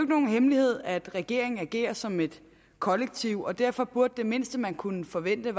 nogen hemmelighed at regeringen agerer som et kollektiv og derfor burde det mindste man kunne forvente